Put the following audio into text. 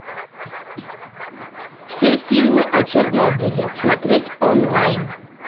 все фильмы о чернобыле смотреть онлайн